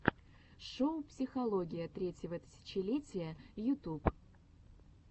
шоу психология третьего тысячелетия ютуб